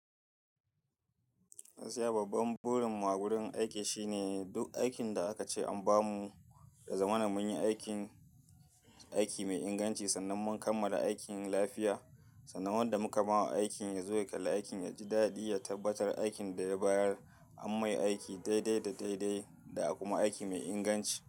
Gaskiya babban burin mu a wurin aiki shine duk aikin da aka ce an ba mu, ya zamana mun yi aikin, aiki mai inganci sannan mun kammala aikin lafiya. Sannan wanda muka mawa aikin ya zo ya kalla aikin, ya ji daɗi, ya tabbatar aikin da ya bayar an mai aiki daidai da daidai da kuma aiki mai inganci.